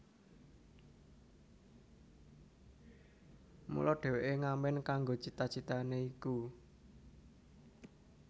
Mula dheweke ngamen kanggo cita citane iku